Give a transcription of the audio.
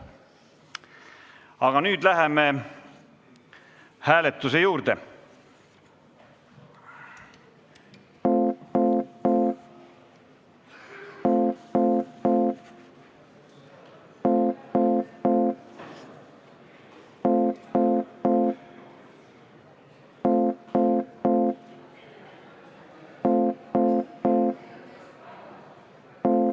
Aga nüüd läheme hääletuse juurde.